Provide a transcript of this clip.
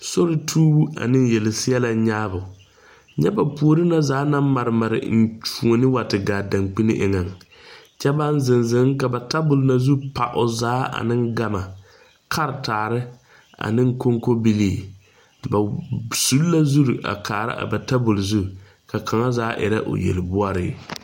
Sori tuubu ane yelseɛlɛ nyaabu. Nyɛ ba poore na zaa na mare mare eŋtuone wa te gaa a dangbine eŋe. Kyɛ baŋ zeŋ zeŋ ka ba tabul na zu pa o zaa ane gama, karataare, ane konkobilii. Ba sul la zuro a kaara a ba tabul zu ka kanga zaa irɛ o yel boɔre